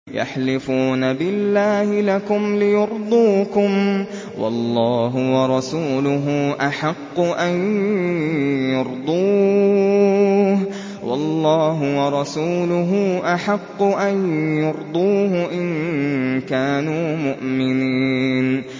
يَحْلِفُونَ بِاللَّهِ لَكُمْ لِيُرْضُوكُمْ وَاللَّهُ وَرَسُولُهُ أَحَقُّ أَن يُرْضُوهُ إِن كَانُوا مُؤْمِنِينَ